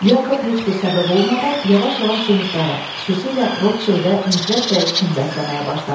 Yakov heç bir səbəb olmadan yavaş-yavaş cuhudlara, xüsusilə Rotchildə nifrət və kin bəsləməyə başladı.